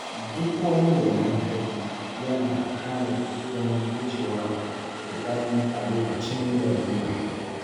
Duk wani mai hankali yana tanadi don gujewa ruɗani a lokacin larura.